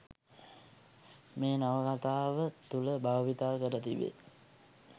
මේ නවකතාව තුළ භාවිතා කර තිබේ.